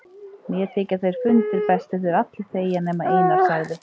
Mér þykja þeir fundir bestir þegar allir þegja nema Einar, sagði